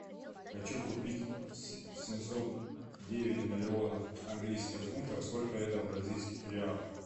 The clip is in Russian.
хочу купить семьсот девять миллионов английских фунтов сколько это в бразильских реалах